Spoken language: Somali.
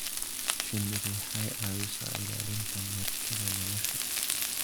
Shinnidu waxay caawisaa ilaalinta meertada nolosha.